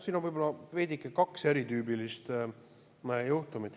Siin on võib-olla kaks veidike eritüübilist juhtumit.